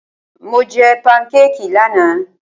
Mo jẹ pankékì lánàá.